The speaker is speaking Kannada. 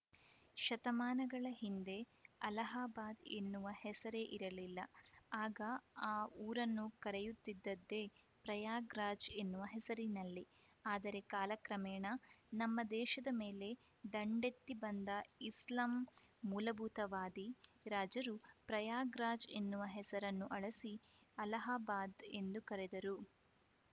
ಶತಮಾನಗಳ ಹಿಂದೆ ಅಲಹಾಬಾದ್‌ ಎನ್ನುವ ಹೆಸರೇ ಇರಲಿಲ್ಲ ಆಗ ಆ ಊರನ್ನು ಕರೆಯುತ್ತಿದ್ದದ್ದೇ ಪ್ರಯಾಗರಾಜ್‌ ಎನ್ನುವ ಹೆಸರಿನಲ್ಲಿ ಆದರೆ ಕಾಲಕ್ರಮೇಣ ನಮ್ಮ ದೇಶದ ಮೇಲೆ ದಂಡೆತ್ತಿ ಬಂದ ಇಸ್ಲಾಂ ಮೂಲಭೂತವಾದಿ ರಾಜರು ಪ್ರಯಾಗರಾಜ್‌ ಎನ್ನುವ ಹೆಸರನ್ನು ಅಳಿಸಿ ಅಲಹಾಬಾದ್‌ ಎಂದು ಕರೆದರು